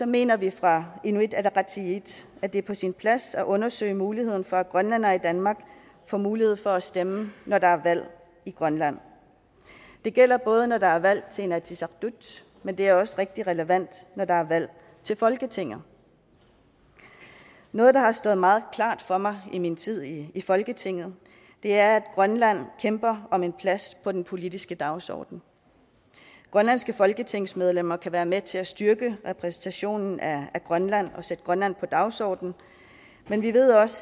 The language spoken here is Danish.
mener vi fra inuit ataqatigiits at det er på sin plads at undersøge muligheden for at grønlændere i danmark får mulighed for at stemme når der er valg i grønland det gælder både når der er valg til inatsisartut men det er også rigtig relevant når der er valg til folketinget noget der har stået meget klart for mig i min tid i folketinget er at grønland kæmper om en plads på den politiske dagsorden grønlandske folketingsmedlemmer kan være med til at styrke repræsentationen af grønland og sætte grønland på dagsordenen men vi ved også